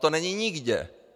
To není nikde.